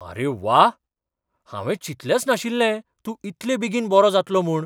आरे व्वा! हावें चिंतलेंच नाशिल्लें तूं इतले बेगीन बरो जातलो म्हूण.